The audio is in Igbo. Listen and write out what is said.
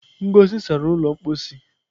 Ngozi sara ụlọ mposi.